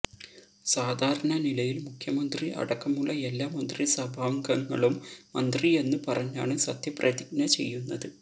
സാധാരണ നിലയില് മുഖ്യമന്ത്രി അടക്കമുള്ള എല്ലാ മന്ത്രിസഭാംഗങ്ങളും മന്ത്രി എന്ന് പറഞ്ഞാണ് സത്യപ്രതിജ്ഞ ചെയ്യുന്നത്